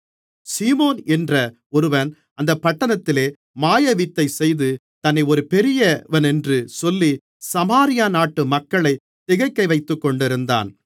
சீமோன் என்ற ஒருவன் அந்தப் பட்டணத்திலே மாயவித்தை செய்து தன்னை ஒரு பெரியவனென்று சொல்லி சமாரியா நாட்டு மக்களைத் திகைக்கவைத்துக்கொண்டிருந்தான்